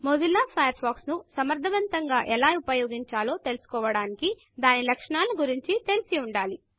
Mozilla Firefox ను సమర్థవంతంగా ఎలా ఉపయోగించాలో తెలుసుకోవడానికి దాని లక్షణాల గూర్చి తెలిసి ఉండాలి